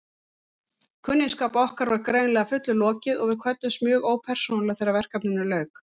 Kunningsskap okkar var greinilega að fullu lokið og við kvöddumst mjög ópersónulega þegar verkefninu lauk.